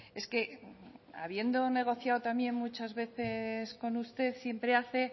es que habiendo negociado también muchas veces con usted siempre hace